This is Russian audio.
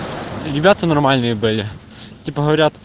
ребята нормальные были типа